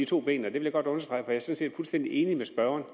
to ben jeg vil godt understrege det er set fuldstændig enig med spørgeren